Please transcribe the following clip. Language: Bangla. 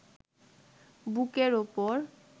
বুকের ওপর